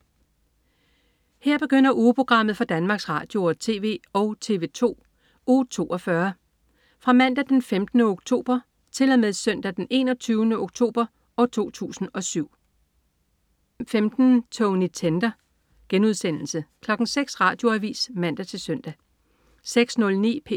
Her begynder ugeprogrammet for Danmarks Radio- og TV og TV2 Uge 42 Fra Mandag den 15. oktober 2007 Til Søndag den 21. oktober 2007